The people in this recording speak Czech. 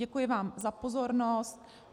Děkuji vám za pozornost.